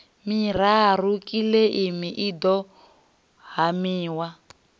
miraru kiḽeimi i ḓo haniwa